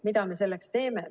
Mida me selleks teeme?